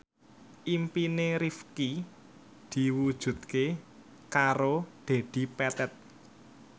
impine Rifqi diwujudke karo Dedi Petet